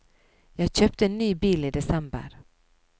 Jeg kjøpte en ny bil i desember.